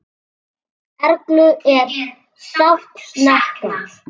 Erlu er sárt saknað.